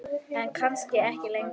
En kannski ekki lengur.